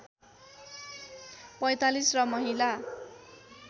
४५ र महिला